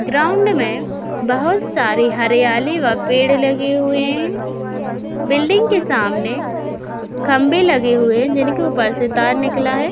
Ground में बहोत सारे हरियाली व पेड़ लगे हुए हैं। बिल्डिंग के सामने खम्बे लगे हुए जिनके ऊपर से तार निकला है।